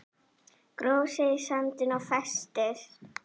Gróf sig í sandinn og festist